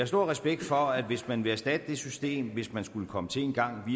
stor respekt for at hvis man vil erstatte det system hvis man skulle komme til engang